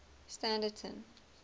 standerton